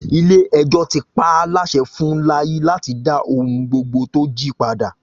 Ilé ẹjọ́ ti pa á láṣẹ fun Láyí láti dá ohun gbogbo tó jí padà